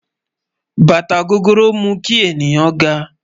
Bátà gògóró mú kí ènìyàn gá